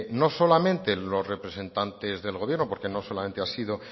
no solamente los representantes del gobierno porque no solamente ha sido